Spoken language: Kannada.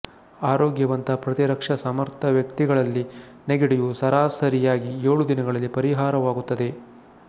ಆರೋಗ್ಯವಂತ ಪ್ರತಿರಕ್ಷಾಸಮರ್ಥ ವ್ಯಕ್ತಿಗಳಲ್ಲಿ ನೆಗಡಿಯು ಸರಾಸರಿಯಾಗಿ ಏಳು ದಿನಗಳಲ್ಲಿ ಪರಿಹಾರವಾಗುತ್ತದೆ